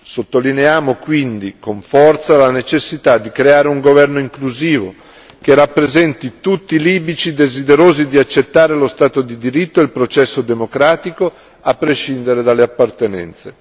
Sottolineiamo, quindi, con forza, la necessità di creare un governo inclusivo, che rappresenti tutti i libici desiderosi di accettare lo stato di diritto e il processo democratico, a prescindere dalle appartenenze.